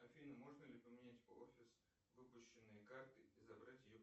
афина можно ли поменять офис выпущенной карты и забрать ее